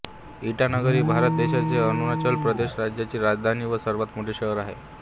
इटानगर ही भारत देशाच्या अरुणाचल प्रदेश राज्याची राजधानी व सर्वात मोठे शहर आहे